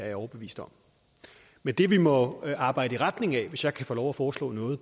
jeg overbevist om men det vi må arbejde i retning af hvis jeg kan få lov at foreslå noget